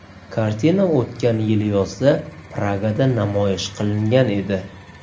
Kartina o‘tgan yili yozda Pragada namoyish qilingan edi.